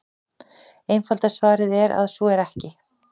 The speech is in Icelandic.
Einfalda svarið er að svo er ekki.